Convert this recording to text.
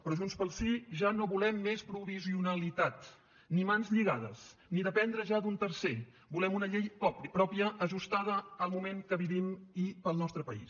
però junts pel sí ja no volem més provisionalitat ni mans lligades ni dependre ja d’un tercer volem una llei pròpia ajustada al moment que vivim i per al nostre país